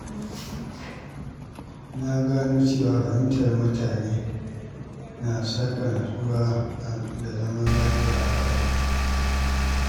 Na gano cewa fahimtar mutane na saka natsuwa da zaman lafiya a rayuwa.